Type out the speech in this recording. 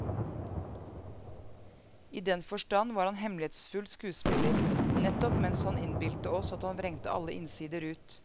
I den forstand var han hemmelighetsfull skuespiller, nettopp mens han innbildte oss at han vrengte alle innsider ut.